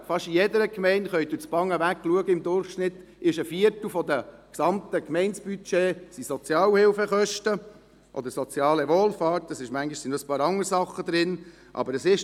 Fast in jeder Gemeinde, Sie können durch Band hinweg schauen, sind im Durchschnitt ein Viertel des gesamten Gemeindebudgets Sozialhilfekosten oder Kosten für soziale Wohlfahrt, manchmal sind noch ein paar andere Dinge enthalten.